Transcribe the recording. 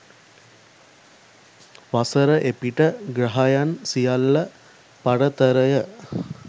වසර එපිට ග්‍රහයන් සියල්ල පරතරය